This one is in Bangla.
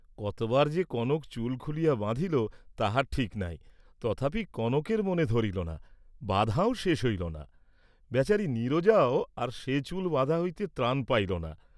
কতবার যে কনক চুল খুলিয়া বাঁধিল তাহার ঠিক নাই, তথাপি কনকের মনে ধরিল না, বাঁধাও শেষ হইল না, বেচারী নীরজাও আর সে চুল বাঁধা হইতে ত্রাণ পাইল না।